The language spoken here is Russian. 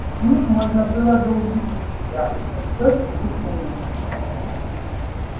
без них можно было бы убедить себя что всё приснилось